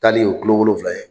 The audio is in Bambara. Tagali o ye tulo wolonwula ye.